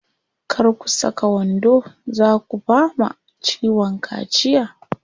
Kar ku saka wando, zaa ku fama ciwon kaciya.